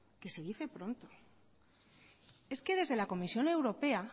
que se dice pronto es que desde la comisión europea